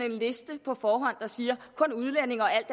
en liste på forhånd der siger kun udlændinge og alt